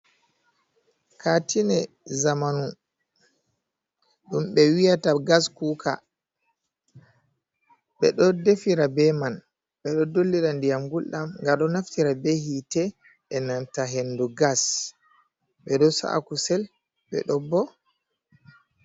Katine zamanu ɗum ɓe wiyata gas kuka, ɓe ɗo defira be man, ɓe ɗo dollira ndiyam gulɗam, nga ɗo naftira be hitte e nanta hendu gas, ɓe ɗo sa’a kusel be ɗo bo.